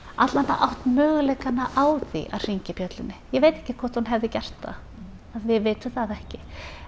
átt möguleika á því að hringja bjöllunni ég veit ekki hvort hún hefði gert það við vitum það ekki